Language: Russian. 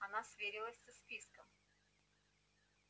она сверилась со списком